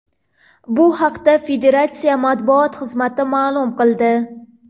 Bu haqda Federatsiya matbuot xizmati ma’lum qildi .